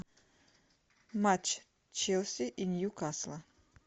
матч челси и ньюкасла